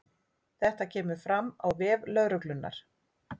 Þetta kemur fram á vef lögreglunnar